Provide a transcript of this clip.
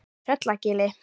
Tröllagili